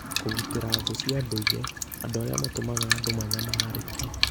Kũgitĩra thũ cia ndũire. (Andũ arĩa matũmaga andũ manyamarĩke)